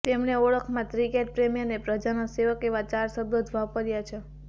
તેમણે ઓળખમાં ક્રિકેટ પ્રેમી અને પ્રજાના સેવક એવા ચાર શબ્દો જ વાપર્યા છે